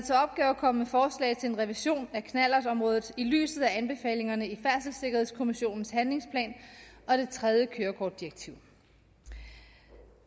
komme med forslag til en revision af knallertområdet i lyset af anbefalingerne i færdselssikkerhedskommissionens handlingsplan og det tredje kørekortdirektiv